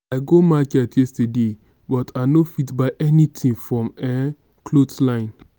i go market yesterday but i no fit buy anything for um cloth line